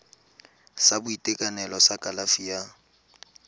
sa boitekanelo sa kalafi ya